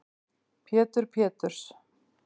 Pétur Péturs